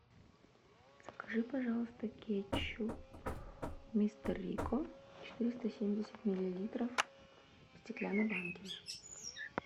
закажи пожалуйста кетчуп мистер рикко четыреста семьдесят миллилитров в стеклянной банке